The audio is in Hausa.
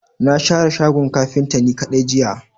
Na share shagon kafinta ni kadai jiya.